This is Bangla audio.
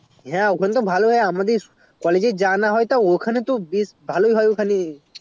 হ্যাঁ ওখানে তো ভালোই হয় আমাদের যে college এ যা না হয় ভালোই হয় ওখানে